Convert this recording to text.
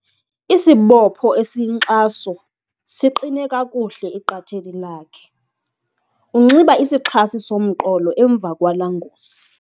Isibopho esiyinkxaso siqine kakuhle eqatheni lakhe. Unxiba isixhasi somqolo emva kwala ngozi